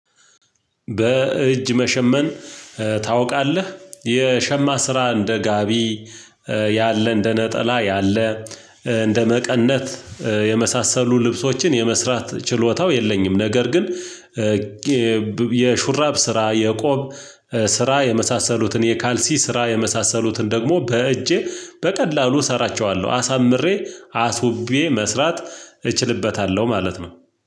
በእጅ መሸመን ታውቃለህ የሸማ ስራ እንደ ጋቢ ያለ እንደ ነጠላ ያለ እንደ መቀነት የመሳሰሉ ልብሶችን የመስራት ችሎታው የለኝም። ነገር ግን የሹራብ ስራ የቆብ ስራ የመሳሰሉትን የካልሲ ስራ የመሳሰሉትን ደግሞ በእጄ በቀላሉ እሰራቸዋለሁ አሳምሬ አስውቤ መስራት እችልበታለሁ ማለት ነው።